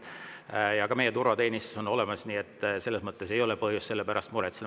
Ja ka turvateenistus on meil olemas, nii et selles mõttes ei ole põhjust selle pärast muretseda.